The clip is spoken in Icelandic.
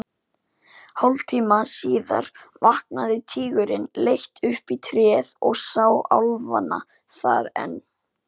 Hálftíma síðar vaknaði tígurinn, leit upp í tréð og sá álfana þar enn.